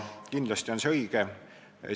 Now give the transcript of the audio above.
Kindlasti on see õige.